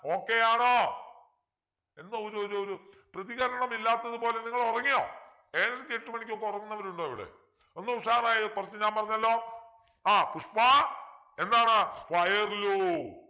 okay യാണോ എന്താ ഒരു ഒരു ഒരു പ്രതികരണം ഇല്ലാത്തതുപോലെ നിങ്ങൾ ഉറങ്ങിയോ ഏഴരക്ക് എട്ടുമണിക്ക് ഒക്കെ ഉറങ്ങുന്നവർ ഉണ്ടോ ഇവിടെ ഒന്ന് ഉഷാറായെ കുറച്ച് ഞാൻ പറഞ്ഞല്ലോ ആ പുഷ്പാ എന്താണ് fire ലു